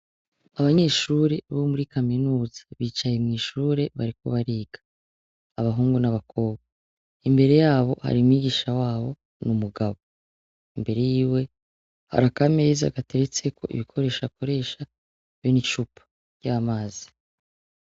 Abanyeshure bo muri kaminuza bicaye mw'ishure bariko bariga abahungu n'abakobwa imbere yabo hari umwigisha wabo ni umugabo imbere yiwe hari akameza gateretseko ibikoresho akoresha be nicupa ry'amazi.